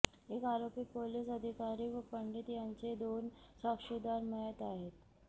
एक आरोपी पोलिस अधिकारी व पंडित यांचे दोन साक्षीदार मयत आहेत